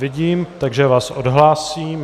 Vidím, takže vás odhlásím.